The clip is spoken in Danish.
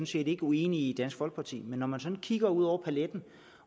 set ikke uenige i i dansk folkeparti men når man sådan kigger ud over paletten